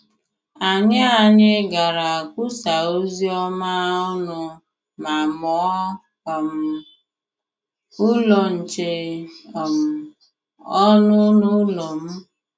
Anyị Anyị gara kwusaa ozi ọma ọnụ ma mụọ um Ụlọ Nche um ọnụ n’ụlọ m.